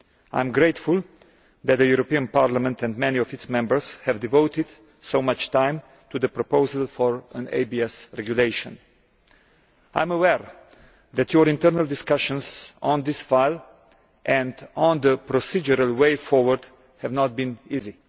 I am grateful that the European Parliament and many of its Members have devoted so much time to the proposal for an ABS regulation. I am aware that your internal discussions on this file and on the procedural way forward have not been easy.